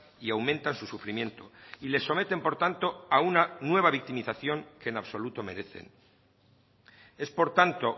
y aumentan su sufrimiento y le someten por tanto a una nueva victimización que en absoluto merecen es por tanto